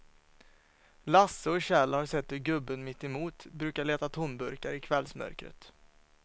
Lasse och Kjell har sett hur gubben mittemot brukar leta tomburkar i kvällsmörkret.